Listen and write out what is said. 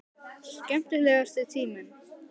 Skemmtilegasti tíminn?